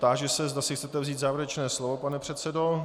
Táži se, zda si chcete vzít závěrečné slovo, pane předsedo?